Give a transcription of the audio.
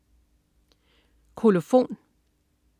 Kolofon